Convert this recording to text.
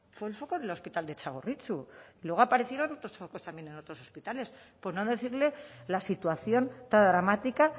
fue el foco del hospital de txagorritxu y luego aparecieron otros focos también en otros hospitales por no decirle la situación tan dramática